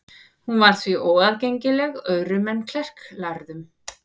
Hún var því óaðgengileg öðrum en klerklærðum.